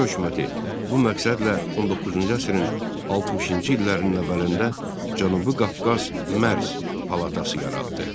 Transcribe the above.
Çar hökuməti bu məqsədlə 19-cu əsrin 60-cı illərinin əvvəlində Cənubi Qafqaz Mərz Palatası yaratdı.